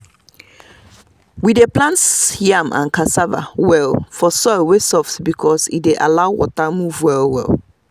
we dey plant yam and cassava well for soil wey soft because e dey allow water move well.